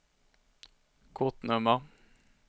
kortnummer